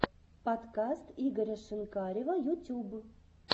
подкаст игоря шинкарева ютюб